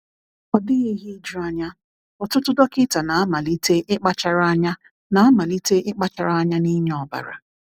"Ọ dịghị ihe ijuanya, ọtụtụ dọkịta na-amalite ịkpachara anya na-amalite ịkpachara anya n’ịnye ọbara."